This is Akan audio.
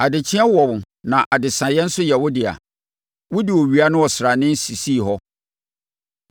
Adekyeeɛ wɔ wo na adesaeɛ nso yɛ wo dea; wode owia ne ɔsrane sisii hɔ.